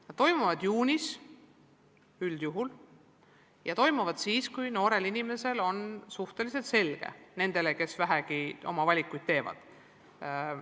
Need toimuvad üldjuhul juunis, siis kui noorel inimesel on tulevikuplaanid suhteliselt selged – nii on see nende puhul, kes vähegi valikuid teevad.